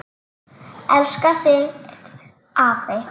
Elska þig, afi.